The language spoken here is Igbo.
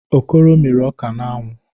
Okoro mịrị ọka n'anwụ.